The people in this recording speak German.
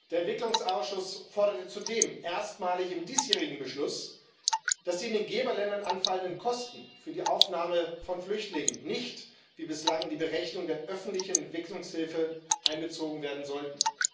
Der Entwicklungsausschuss forderte zudem erstmalig im diesjährigen Beschluss, dass die in den Geberländern anfallenden Kosten für die Aufnahme von Flüchtlingen nicht wie bislang in die Berechnung der öffentlichen Entwicklungshilfe einbezogen werden sollten.